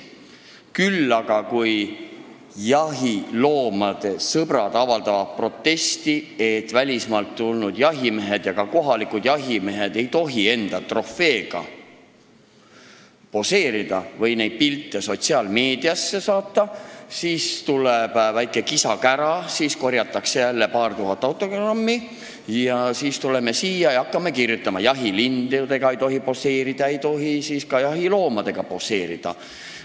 Küll aga siis, kui jahiloomade sõbrad hakkavad protesti avaldama, nõudes, et välismaalt tulnud ja ka kohalikud jahimehed ei tohiks koos enda trofeedega poseerida või neid pilte sotsiaalmeediasse saata, tekib väike kisa-kära, korjatakse jälle paar tuhat autogrammi ning meie tuleme siia ja hakkame seadusesse kirjutama, et jahilindudega ei tohi poseerida ega tohi ka jahiloomadega poseerida.